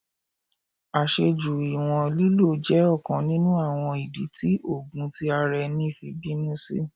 Aṣeju iwọn lilo jẹ ọkan ninu awọn idi ti oogun ti ara ẹni fi binu si